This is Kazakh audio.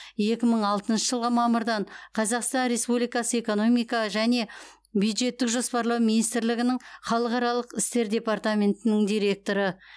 екі мың алтыншы жылғы мамырдан қазақстан республикасы экономика және бюджеттік жоспарлау министрлігінің халықаралық істер департаментінің директоры